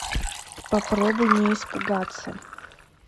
попробуй не испугаться